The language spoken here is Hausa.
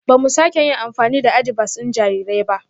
Ba mu sake yin amfani da adibas ɗin jarirai ba